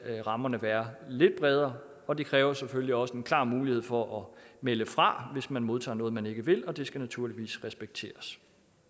rammerne være lidt bredere og det kræver selvfølgelig også en klar mulighed for at melde fra hvis man modtager noget man ikke vil og det skal naturligvis respekteres